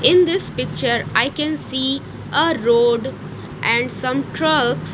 in this picture I can see ah road and trucks.